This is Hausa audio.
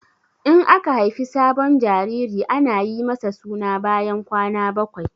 In aka haifi sabon jariri ana yi masa suna bayan kwana bakwai.